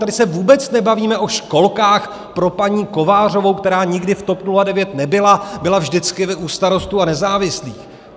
Tady se vůbec nebavíme o školkách pro paní Kovářovou, která nikdy v TOP 09 nebyla, byla vždycky u Starostů a nezávislých.